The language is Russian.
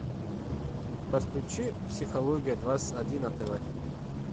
подключи психология двадцать один на тв